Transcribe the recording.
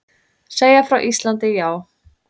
Segja frá Íslandi, já.